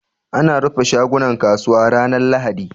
Ana rufe shagunan kasuwa ranar lahadi